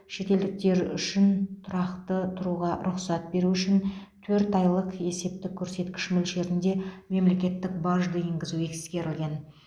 шетелдіктер үшін тұрақты тұруға рұқсат беру үшін төрт айлық есептік көрсеткіш мөлшерінде мемлекеттік бажды енгізу ескерілген